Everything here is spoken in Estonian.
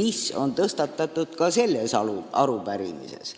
mis on tõstatatud ka selles arupärimises.